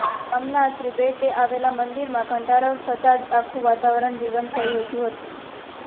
ગામના ત્રિભેટે આવેલા મંદિરમાં ઘંટારવ થતાં જ આખું વાતાવરણ જીવંત થઇ ઊઠયું હતું